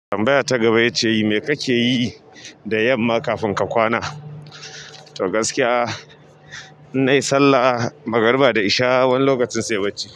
Tambaya ta gaba ya ce, me kake yi da yamma kafin ka kwana? To gaskiya, in nayi sallah magariba da isha wani lokacin sai bacci.